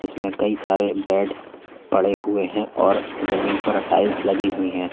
में कई सारे बेड पड़े हुए हैं और जमीन पर टाइल्स लगी हुई है।